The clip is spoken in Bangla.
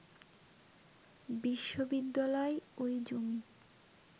বিশ্ববিদ্যালয় ওই জমি